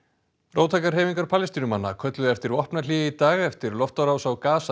róttækar hreyfingar Palestínumanna kölluðu eftir vopnahléi í dag eftir loftárásir á